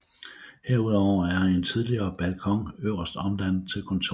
Herudover er en tidligere balkon øverst omdannet til kontor